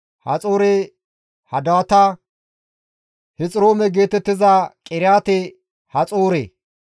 Haxoore-Hadaata, Hexiroome geetettiza Qiriyaate-Haxoore,